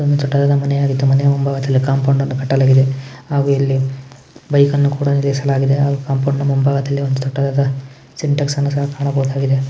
ಇದೊಂದು ದೊಡ್ಡದಾದ ಮನೆ ಆಗಿದ್ದು ಮನೆಯ ಮುಂಭಾಗದಲ್ಲಿ ಕಾಂಪೋಂಡ್ ಅನ್ನು ಕಟ್ಟಲಾಗಿದೆ ಹಾಗು ಇಲ್ಲಿ ಬೈಕ್ ಅನ್ನು ಕೂಡ ನಿಲ್ಲಿಸಲಾಗಿದೆ ಹಾಗು ಕಾಂಪೋಂಡ್ ನ ಮುಂಭಾಗದಲ್ಲಿ ದೊಡ್ಡದಾದ ಸಿನಿಟಾಕ್ಸ್ ಅನ್ನು ಸಹ ಕಾಣಬಹುದಾಗಿದೆ.